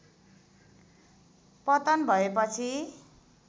पतन भएपछि